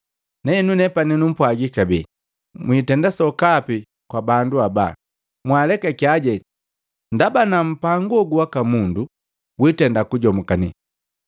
Nahenu nepani numpwagi kabee, mwitenda sokapi kwa bandu abaa, mwaalekakyaje! Ndaba ana mpangu hogu waka mundu, witenda kujomukane.